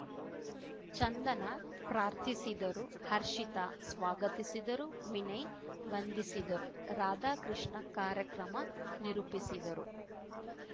ಚಂದನಾ ಪ್ರಾರ್ಥಿಸಿದರು ಹರ್ಷಿತ ಸ್ವಾಗತಿಸಿದರು ವಿನಯ್ ವಂದಿಸಿದರು ರಾಧಾಕೃಷ್ಣ ಕಾರ್ಯಕ್ರಮ ನಿರೂಪಿಸಿದರು